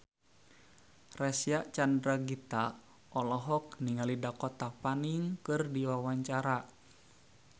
Reysa Chandragitta olohok ningali Dakota Fanning keur diwawancara